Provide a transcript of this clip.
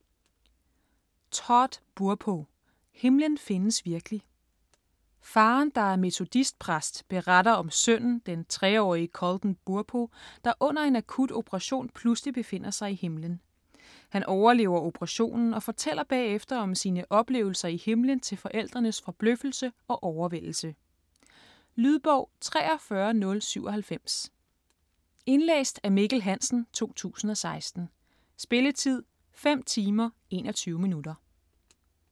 Burpo, Todd: Himlen findes virkelig Faderen, der er metodistpræst, beretter om sønnen, den 3-årige Colton Burpo, der under en akut operation pludselig befinder sig i himlen. Han overlever operationen og fortæller bagefter om sine oplevelser i himlen til forældrenes forbløffelse og overvældelse. Lydbog 43097 Indlæst af Mikkel Hansen, 2016. Spilletid: 5 timer, 21 minutter.